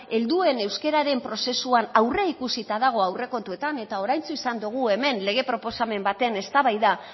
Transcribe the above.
helduen euskararen prozesuan aurreikusita dago aurrekontuetan eta oraintxu izan dogu hemen lege proposamen baten eztabaida